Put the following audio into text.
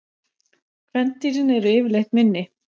Kvendýrin eru yfirleitt minni.